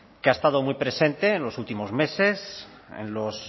que ha estado muy presente en los últimos meses en los